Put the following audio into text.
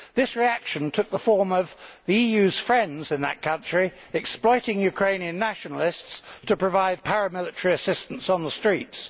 This reaction took the form of the EU's friends in that country exploiting Ukrainian nationalists to provide paramilitary assistance on the streets.